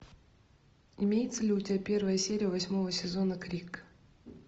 имеется ли у тебя первая серия восьмого сезона крик